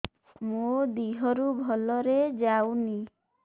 ମୋ ଦିହରୁ ଭଲରେ ଯାଉନି